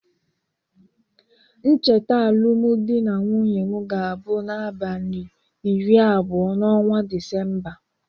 Ncheta alụm dị na nwunye m ga-abụ na abalị iri abụọ n'ọnwa Disemba.